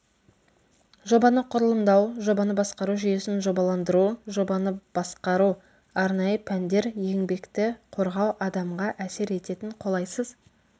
жобаны құрылымдау жобаны басқару жүйесін жобаландыру жобаны басқару арнайы пәндер еңбекті қорғау адамға әсер ететін қолайсыз